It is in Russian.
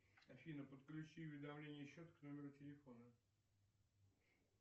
афина подключи уведомление счета к номеру телефона